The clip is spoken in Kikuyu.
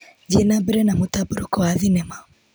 Thiĩ na mbere na mũtambũrũko wa thinema.